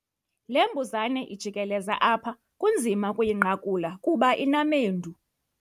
Le mbuzane ijikeleza apha kunzima ukuyinqakula kuba inamendu.